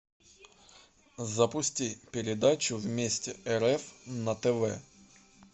запусти передачу вместе рф на тв